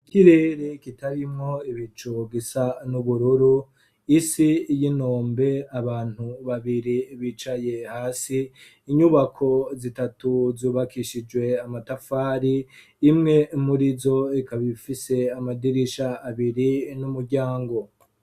Ikirere kitarimwo ibicu, gisa n'ubururu, isi y'inombe, abantu babiri bicaye hasi, inyubako zitatu zubakishijwe amatafari, imwe muri zo ikaba ifise amadirisha abiri n'umuryango.